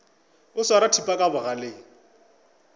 o swara thipa ka bogaleng